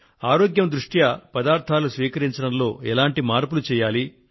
ఆరోగ్యం దృష్ట్యా పదార్థాలు స్వీకరించడంలో ఎటువంటి మార్పులు చేయాలి